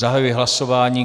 Zahajuji hlasování.